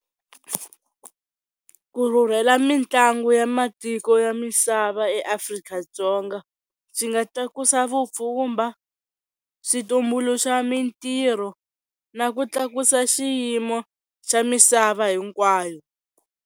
Ku rhurhela mitlangu ya matiko ya misava eAfrika-Dzonga swi nga tlakusa vupfhumba, switumbuluxaka mintirho, na ku tlakusa xiyimo xa misava hinkwayo.